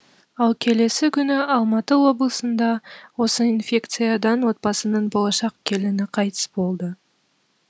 ал келесі күні алматы облысында осы инфекциядан отбасының болашақ келіні қайтыс болды